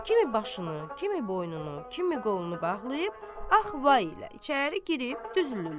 Kimi başını, kimi boynunu, kimi qolunu bağlayıb, ax vay ilə içəri girib düzülürlər.